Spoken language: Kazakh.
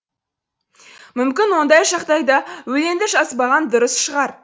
мүмкін ондай жағдайда өлеңді жазбаған дұрыс шығар